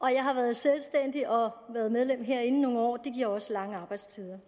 jeg har været selvstændig og har været medlem herinde i nogle år det giver også lange arbejdstider